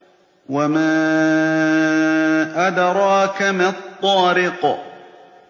وَمَا أَدْرَاكَ مَا الطَّارِقُ